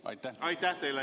Aitäh teile!